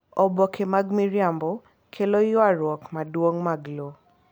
Oboke mag miriambo kelo ywarruok madongo mag lowo.